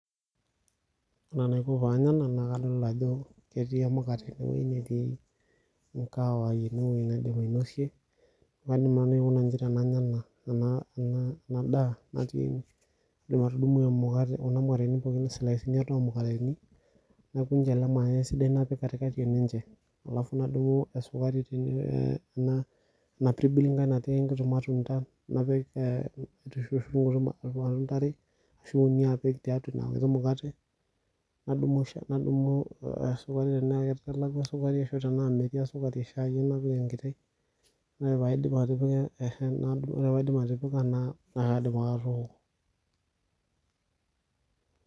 Ore enaiko panya ena na kadolta ajo ketii emukate ewoi netii kaawai enewoi naidim ainosie, kaidim nanu aikuna iji tenanya enadaa natii ene, kaidim atudumu kuna mukateni pookin isilaisini are omukateni, nai kuncha ele mayai esidai napik katikati eninche. Alafu nadumu esukari tene ena pirbil nkai natii nkuti matundan, napik nkuti matunda are, ashu uni apik tiatua ina mukate, nadumu esukari tenaa kelakwa sukari tenaa metii esukari shai ai napik enkiti, ore paidip atipika na kaidim ake atooko.